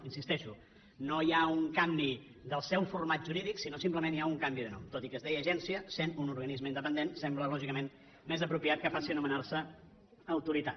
hi insisteixo no hi ha un canvi del seu format jurídic sinó simplement hi ha un canvi de nom tot i que es deia agència sent un organisme independent sembla lògicament més apropiat que passi a anomenarse autoritat